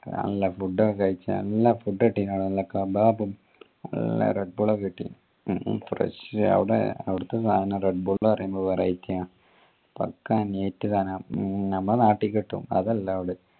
നല്ല food ഒക്കെ കഴിച്ച് നല്ല food കിട്ടീന് അവിടുന്ന് നല്ല കബാബ നല്ല redbull ഒക്കെ കിട്ടി fresh അവിടെ അവിടുത്തെ സാനം redbull പറയുമ്പോ variety ആ pakka neat സാന നമ്മുടെ നാട്ടി കിട്ടും അതല്ല അവിടെ